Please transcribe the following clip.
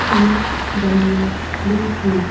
तीन डमियाँ खड़ी हुई--